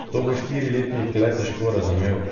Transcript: To bo štiriletnik le težko razumel.